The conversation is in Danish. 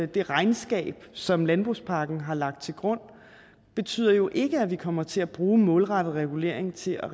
det regnskab som landbrugspakken har lagt til grund betyder jo ikke at vi kommer til at bruge målrettet regulering til